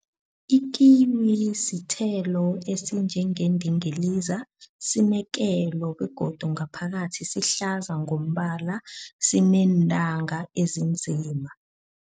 Ikiwi sithelo esinjengendingiliza sinekelo begodu ngaphakathi sihlaza ngombala sineentanga ezinzima.